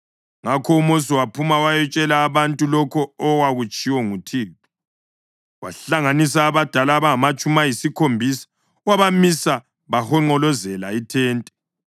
Ngakho uMosi waphuma wayatshela abantu lokho okwakutshiwo nguThixo. Wahlanganisa abadala abangamatshumi ayisikhombisa wabamisa bahonqolozela ithente.